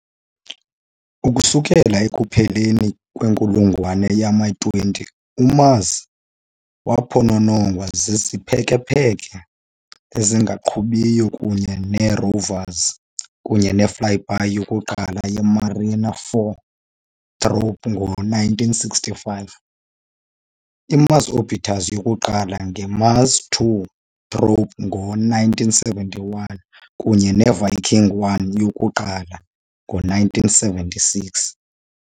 Ukusukela ekupheleni kwenkulungwane yama-20, uMars waphononongwa ziziphekepheke ezingaqhubiyo kunye neerovers, kunye ne-flyby yokuqala ye- "Mariner 4" probe ngo-1965, i-Mars orbiter yokuqala nge- "Mars 2" probe ngo-1971, kunye ne- "Viking 1" yokuqala ngo-1976.